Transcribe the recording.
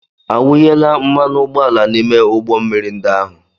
A wùyééla mmanụ ụgbọala n'ime ụgbọ mmiri ndi áhù